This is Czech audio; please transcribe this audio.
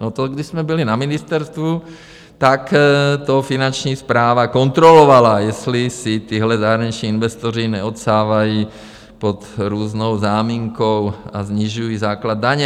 No, to když jsme byli na ministerstvu, tak to Finanční správa kontrolovala, jestli si tihle zahraniční investoři neodsávají pod různou záminkou a nesnižují základ daně.